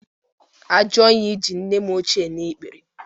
Ajoyi ji nne m ochie n'ikpere